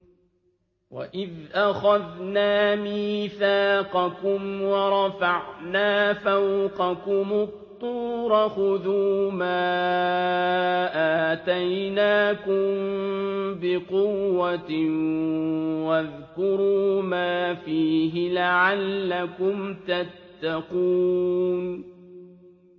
وَإِذْ أَخَذْنَا مِيثَاقَكُمْ وَرَفَعْنَا فَوْقَكُمُ الطُّورَ خُذُوا مَا آتَيْنَاكُم بِقُوَّةٍ وَاذْكُرُوا مَا فِيهِ لَعَلَّكُمْ تَتَّقُونَ